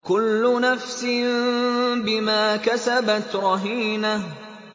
كُلُّ نَفْسٍ بِمَا كَسَبَتْ رَهِينَةٌ